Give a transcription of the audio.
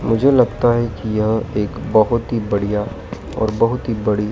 मुझे लगता है कि यह एक बहोत ही बढ़िया और बहुत ही बड़ी --